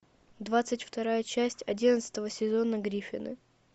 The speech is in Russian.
двадцать вторая часть одиннадцатого сезона гриффины